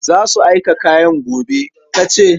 Za su aika kayan gobe, ka ce?